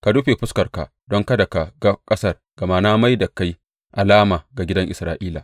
Ka rufe fuskarka don kada ka ga ƙasar, gama na mai da kai alama ga gidan Isra’ila.